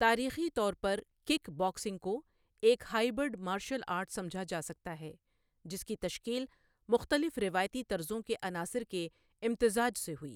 تاریخی طور پر، کک باکسنگ کو ایک ہائبرڈ مارشل آرٹ سمجھا جا سکتا ہے جس کی تشکیل مختلف روایتی طرزوں کے عناصر کے امتزاج سے ہوئی۔